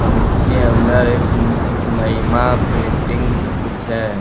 और इसके अंदर एक महिमा प्रिंटिंग कुछ है